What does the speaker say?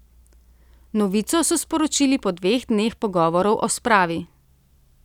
Novico so sporočili po dveh dneh pogovorov o spravi.